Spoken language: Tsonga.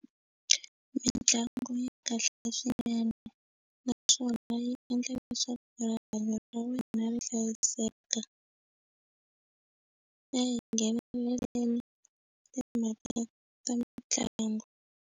Mintlangu yi kahle swinene naswona yi endla leswaku rihanyo ra wena ri hlayiseka na yi nghenelela timhaka ta mitlangu.